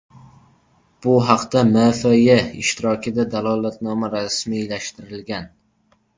Bu haqda MFY ishtirokida dalolatnoma rasmiylashtirilgan.